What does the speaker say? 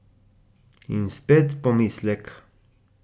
In spet pomislek.